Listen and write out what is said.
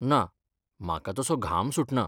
ना, म्हाका तसो घाम सुटना.